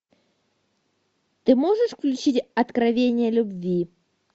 ты можешь включить откровения любви